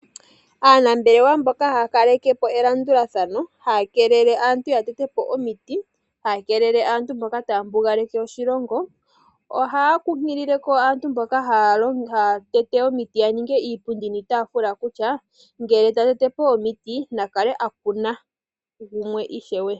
Aanambelewa mboka haa kaleke po elandulathano haya keelela aantu ya tete po omiiti, haya keelele aantu mboka taya mbugaleke oshilongo. Oha kunkilile ko aantu mboka haya tete omiiti ya ninge iipundi niitafula kutya ngele ta tete po omiiti na kale a kuna yimwe ishewe.